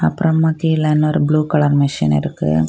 அப்பறமா கீழ இன்னு ஒரு ப்ளூ கலர் மெஷின் இருக்கு.